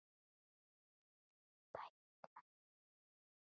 Ég er tæp í lærinu.